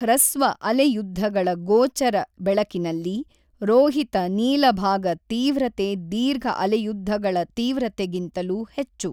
ಹ್ರಸ್ವ ಅಲೆ ಯುದ್ದಗಳ ಗೋಚರ ಬೆಳಕಿನಲ್ಲಿ ರೋಹಿತ ನೀಲಭಾಗ ತೀವ್ರತೆ ದೀರ್ಘಅಲೆಯುದ್ದಗಳ ತೀವ್ರತೆಗಿಂತಲೂ ಹೆಚ್ಚು.